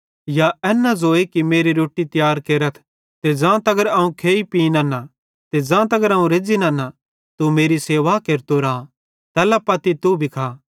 या एन न ज़ोए कि मेरी रोट्टी तियार केरथ ते ज़ां तगर अवं खेइ पीं नन्ना ते ज़ां तगर अवं रेज़्ज़ी नन्ना तू मेरी सेवा केरतो राए तैल्ला पत्ती तू भी खा